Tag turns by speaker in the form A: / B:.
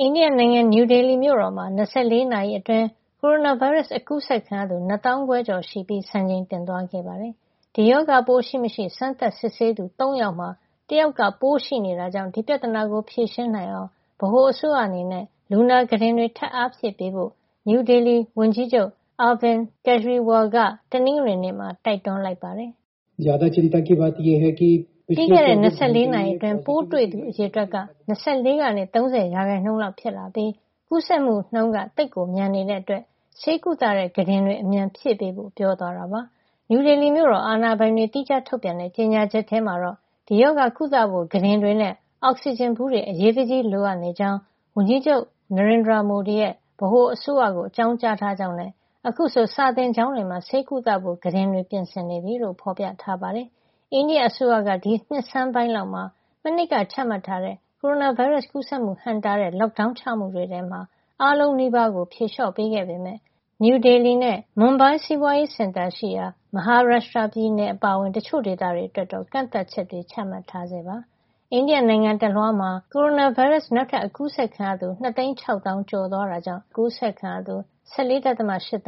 A: အိန္ဒိယနိုင်ငံ နယူးဒေလီမြို့တော်မှာ ၂၄ နာရီအတွင်း ကိုရိုနာဗိုင်းရပ်စ် အကူးစက်ခံရသူ နှစ်သောင်းခွဲကျော် ရှိပြီး စံချိန်တင် သွားခဲ့ပါတယ်။ ဒီရောဂါပိုး ရှိမရှိ စမ်းသပ်စစ်ဆေးသူ ၃ ယောက်မှာ ၁ ယောက်က ပိုးရှိနေတာကြောင့် ဒီပြဿနာကို ဖြေရှင်းနိုင်အောင် ဗဟိုအစိုးရအနေနဲ့ လူနာကုတင်တွေ ထပ်အားဖြည့်ပေးဖို့ နယူးဒေလီမြို့ အုပ်ချုပ်ရေးမှူး Arvind Kejriwal က တနင်္ဂနွေနေ့မှာ တိုက်တွန်းလိုက်ပါတယ်
B: ။ ပြီးခဲ့တဲ့ ၂၄ နာရီ
A: အတွင်း ပိုးတွေ့သူ အရေအတွက်က ၂၄ ကနေ ၃၀ ရာခိုင်နှုန်းလောက် ဖြစ်လာပြီး ကူးစက်မှုနှုန်းက သိပ်မြန်နေတာကြောင့် ဆေးကုသတဲ့ ကုတင်တွေ အမြန်ဖြည့်ပေးဖို့ ပြောသွားတာပါ။ နယူးဒေလီမြို့တော် အာဏာပိုင်တွေ သီးခြားထုတ်ပြန်တဲ့ ကြေညာချက်ထဲမှာေ တာ့ ဒီရောဂါကုသဖို့ ကုတင်တွေနဲ့ အောက်ဆီဂျင်ဗူးတွေ အရေးတကြီး လိုအပ်နေကြောင်း အိန္ဒိယဝန်ကြီးချုပ် Narendra Modi ရဲ့ ဗဟိုအစိုးရကို အကြောင်းကြားထားကြောင်းနဲ့ အခုဆိုရင် စာသင်ကျောင်းတွေမှာ ဆေးကုသဖို့ ကုတင်တွေ ပြင်နေပြီလို့ ဖေါ်ပြထားပါတယ်။ အိန္ဒိယအစိုးရက ဒီနှစ်ဆန်းပိုင်းလောက်မှာ မနှစ်က ချမှတ်ထားတဲ့ ကိုရိုနာဗိုင်းရပ်စ် ကူးစက်မှုဟန့်တားတဲ့ Lockdown ပိတ်ပင်ကန့်သတ်ချက်တွေထဲက အားလုံးနီးပါးကို ဖြေလေ ျှာ့ပေးခဲ့ပေမယ့် နယူးဒေလီနဲ့ မွန်ဘိုင်း စီးပွားရေးစင်တာရှိရာ Maharashtra ပြည်နယ် အပါအဝင် တချို့ဒေသတွေမှာတော့ ကန့်သတ်ချက်တွေ ချမှတ်ထားဆဲ ဖြစ်ပါတယ်။ အိန္ဒိယနိုင်ငံ တလွှားမှာ တနင်္ဂနွေနေ့က ကိုရိုနာဗိုင်းရပ်စ် နောက်ထပ် အကူးစက်ခံရသူ ၂ သိန်း ၆ သောင်း (၂၆၁ ၅၀၀) ကျော်သွားခဲ့တာကြောင့် အခုဆို ဒီရောဂါ ကူးစက်ခံရသူ ၁၄.၈ သ